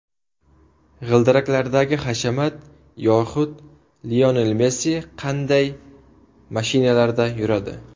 G‘ildiraklardagi hashamat yoxud Lionel Messi qanday mashinalarda yuradi?.